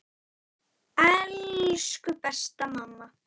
Elsku besta mamma.